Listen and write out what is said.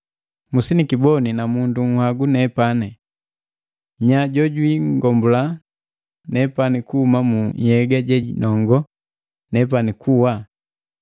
Musinikiboni namundu nhagu nepani! Nya jojwingombula nepani kuhuma mu nhyega jejinongo nepani kuwa?